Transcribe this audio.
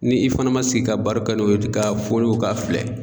Ni i fɛnɛ ma sigi ka baro kɛ n'o ye ten k'a foni o k'a filɛ